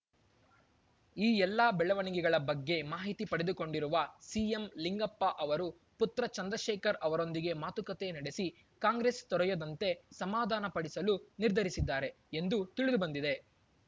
ಈ ಎಲ್ಲಾ ಬೆಳವಣಿಗೆಗಳ ಬಗ್ಗೆ ಮಾಹಿತಿ ಪಡೆದುಕೊಂಡಿರುವ ಸಿಎಂಲಿಂಗಪ್ಪ ಅವರು ಪುತ್ರ ಚಂದ್ರಶೇಖರ್‌ ಅವರೊಂದಿಗೆ ಮಾತುಕತೆ ನಡೆಸಿ ಕಾಂಗ್ರೆಸ್‌ ತೊರೆಯದಂತೆ ಸಮಾಧಾನ ಪಡಿಸಲು ನಿರ್ಧರಿಸಿದ್ದಾರೆ ಎಂದೂ ತಿಳಿದು ಬಂದಿದೆ